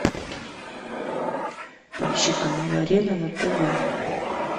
поищи канал арена на тв